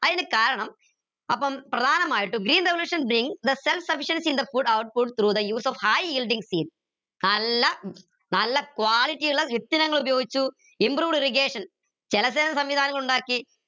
അയിന് കാരണം അപ്പം പ്രധാനമായിട്ട് green revolution bring the self sufficiency in the food output through the use of high yielding seeds നല്ല നല്ല quality ഇള്ള ഉപയോഗിച്ചു improved irrigation ഉണ്ടാക്കി